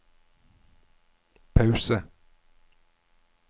pause